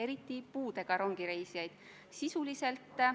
Ruuben Kaalep, palun!